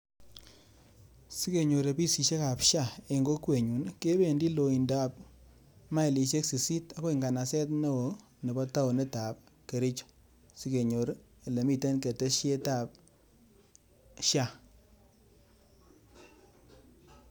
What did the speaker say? Sikenyor ofisishekab SHA en kokwenyun ii, kebendi loindab mailishek sisit akoi nganaset neo nebo taonitab Kericho. Sikenyor elemiten keteshetab SHA.